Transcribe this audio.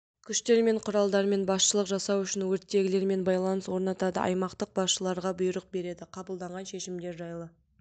күштер мен құралдармен басшылық жасау үшін өрттегілермен байланыс орнатады аймақтық басшыларға бұйрық береді қабылданған шешімдер жайлы